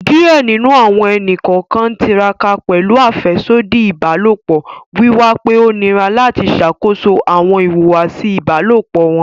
Diẹ ninu awọn ẹni-kọọkan n tiraka pẹlu afẹsodi ibalopọ, wiwa pe o nira lati ṣakoso awọn ihuwasi ibalopọ wọn